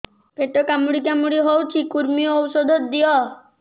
ପେଟ କାମୁଡି କାମୁଡି ହଉଚି କୂର୍ମୀ ଔଷଧ ଦିଅ